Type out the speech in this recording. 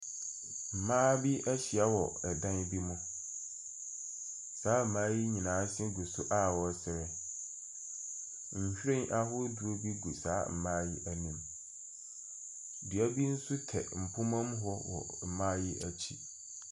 Mmaa bi ahyia wɔ ɛdan bi mu. Saa mmaa yi nyinaa se gu so a wɔsere. Nhwiren ahodoɔ bi gu saa mmaa yi anim. Dua bi nso tɛ mpoma mu wɔ mmaa yi akyi.